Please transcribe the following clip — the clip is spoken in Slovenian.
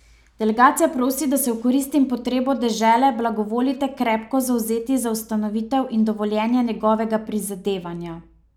Delegacija prosi, da se v korist in potrebo dežele blagovolite krepko zavzeti za ustanovitev in dovoljenje njegovega prizadevanja.